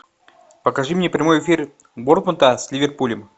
покажи мне прямой эфир борнмута с ливерпулем